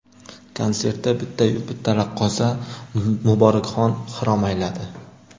Konsertda bittayu bitta raqqosa Muborakxon xirom ayladi.